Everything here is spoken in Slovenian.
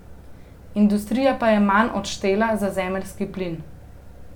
Industrija pa je manj odštela za zemeljski plin.